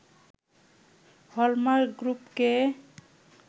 hallmark গ্রুপকে